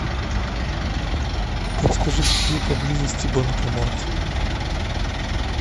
подскажи где поблизости банкомат